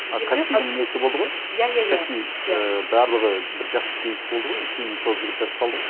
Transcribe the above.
а каспидің несі болды ғой иә иә иә каспи ііі барлығы бір жақсы кейс болды ғой кейін сол жігіттер ұсталды ғой